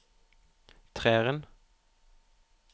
treeren